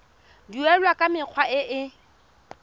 duelwa ka mekgwa e e